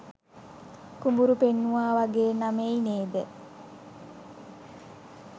කුඹුරු පෙන්නුවා වගේ නමෛයි නේද?